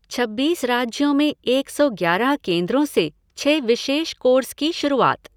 छब्बीस राज्यों में एक सौ ग्यारह केंद्रों से छह विशेष कोर्स की शुरूआत